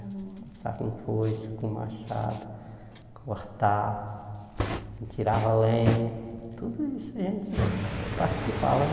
Roçar com foice, com machado, cortar, a gente tirava lenha, tudo isso a gente participava, né?